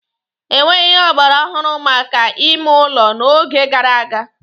E nweghị ihe ọgbaraọhụrụ maka ime ụlọ n'oge gara aga